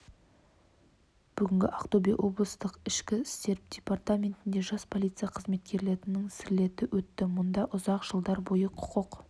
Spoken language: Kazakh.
бүгін ақтөбе облыстық ішкі істер департаментінде жас полиция қызметкерлерінің слеті өтті мұнда ұзақ жылдар бойы құқық